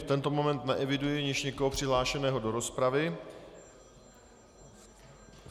V tento moment neeviduji již nikoho přihlášeného do rozpravy.